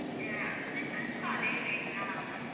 ஆஹ் childrens க்கு அதே rate தானா ma'am